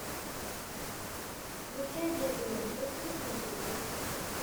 включай дерби манчестера с манчестер сити